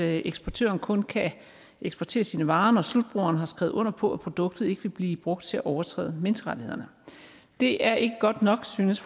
at eksportøren kun kan eksportere sine varer når slutbrugeren har skrevet under på at produktet ikke vil blive brugt til at overtræde menneskerettighederne det er ikke godt nok synes